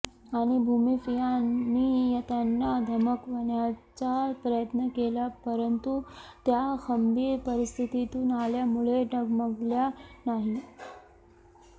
आणि भूमाफियांनी त्यांना धमकवण्याचा प्रयत्न केला परंतु त्या खंबीर परिस्थितीतून आल्यामुळे डगमगल्या नाही